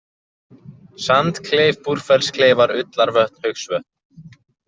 Sandkleif, Búrfellskleifar, Ullarvötn, Haugsvötn